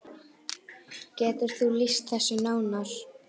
Getur þú lýst þessu nánar?